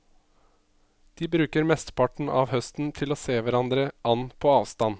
De bruker mesteparten av høsten til å se hverandre an på avstand.